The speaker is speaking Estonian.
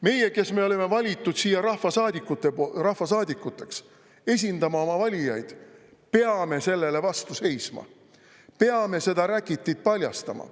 Meie, kes me olime valitud siia rahvasaadikuteks, esindama oma valijaid, peame sellele vastu seisma, peame seda räkitit paljastama.